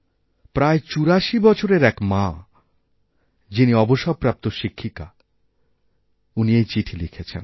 প্রায় চুরাশি বছরের এক মা যিনি অবসরপ্রাপ্ত শিক্ষিকা উনি এই চিঠি লিখেছেন